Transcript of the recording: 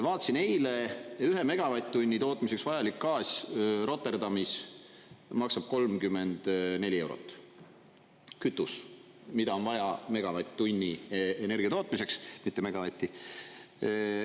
Vaatasin eile, ühe megavatt-tunni tootmiseks vajalik gaas Rotterdamis maksab 34 eurot – kütus, mida on vaja megavatt-tunni energia tootmiseks, mitte megavatti.